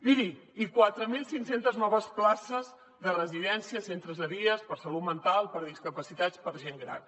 miri i quatre mil cinc cents noves places de residències centres de dia per a salut mental per a discapacitats per a gent gran